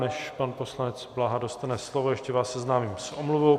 Než pan poslanec Blaha dostane slovo, ještě vás seznámím s omluvou.